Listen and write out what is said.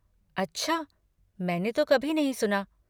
अच्छा, मैंने तो कभी नहीं सुना।